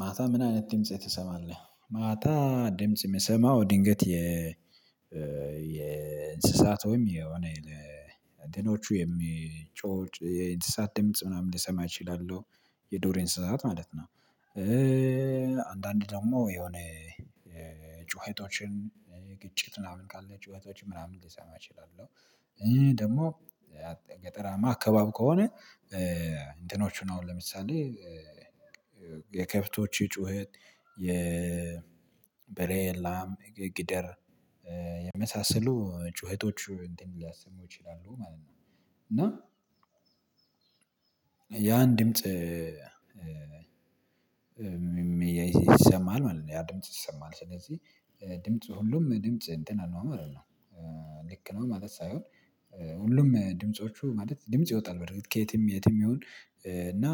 ማታ ምን አይነት ድምጽ ትሰማለህ? ማታ ድምጽ የምሰማው ድንገት ወይም የሆነ የትኖቹ የሚጮህ የእንስሳት ደምጽ ምናምን ሊሰማ እችላለሁ የዱር እንስሳት ማለት ነው። አንዳንድ ደግሞ የሆነ ጩኸቶችን ግጭት ምናምን ካለ ጩኸቶች ምናምን ልሰማ እችላለሁ። ደግሞ ገጠራማ አካባቢ ከሆነ እንትኖቹን አሁን ለምሳሌ የከብቶቹ ጩኸት የበሬ ላም የጊደር የመሳሰሉ ጩኸቶች እንትን ሊያሰሙ ይችላሉ ማለት ነው። እና ያን ድምጽ የሚሰማል ማለት ነው ያ ድምጽ ይሰማል ስለዚህ ድምጽ ሁሉም ድምጽ እንትን አልባ ማለት ነው። ልክ ነው ማለት ሳይሆን ሁሉም ድምጾቹ ማለት ድምጽ ይወጣል በርግጥ ከየትም የትም ይሁን እና።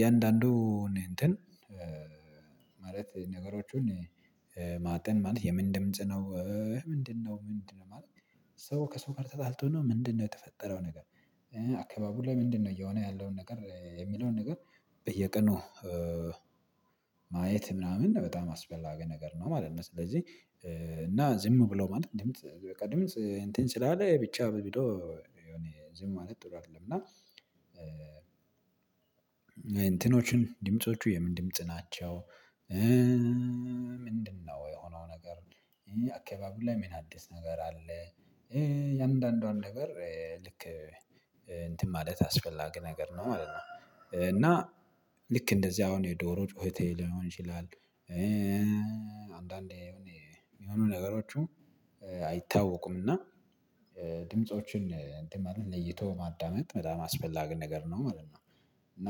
የእንዳንዱ እኔ እንትን ማለት ነገሮቹን ማጤን ማለት የምን ምንጽነው ምንድነው ምንድነው? ማለት ሰው ከሰው ጋር ተጣልቶ ነው ምንድነው የተፈጠረው ነገር አካባቢው ላይ ምንድነው እየሆነ ያለውን ነገር የሚለውን ነገር በየቀኑ ማየት ምናምን በጣም አስፈላጊ ነገር ነው ማለት ነው። ስለዚህ እና ዝም ብሎ ማለት በቃ ድምጽ እንትን ስላለ ብቻ በሚለው ዝም ማለት ጥሩ አይደለም እና እንትኖችን ድምፆቹ የምንም ድምጽ ናቸው። ምንድነው የሆነው ነገር አካባቢው ላይ ምን አዲስ ነገር አለ? የአንዳንዷን ነገር ልክ እንትን ማለት አስፈላጊ ነገር ነው ማለት ነው። እና ልክ እንደዚህ አሁን የዶሮ ጩኸቴ ሊሆን ይችላል። አንዳንዴ የሚሆኑ ነገሮቹ አይታወቁም እና ድምፆችን እንትን ማለት ለይቶ ማዳመጥ በጣም አስፈላጊ ነገር ነው ማለት ነው። እና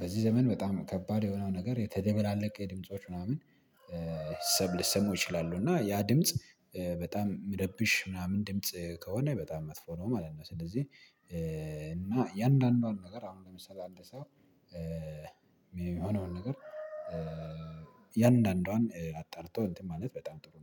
በዚህ ዘመን በጣም ከባድ የሆነው ነገር የተደባለቀ የድምጾች ምናምን ሊሰማው ይችላሉ እና ያ ድምጽ በጣም ሚረብሽ ምናምን ድምጽ ከሆነ በጣም መጥፎ ነው ማለት ነው። ስለዚህ እና የእንዳንዷን ነገር አሁን ለምሳሌ አንድ ሰው የሚሆነውን ነገር የአንዳንዷን አጣርቶ እንትን ማለት በጣም ጥሩ ነው